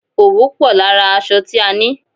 Òwú pò lára aṣọ tí a ni.